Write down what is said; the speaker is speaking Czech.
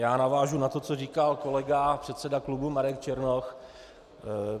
Já navážu na to, co říkal kolega předseda klubu Marek Černoch.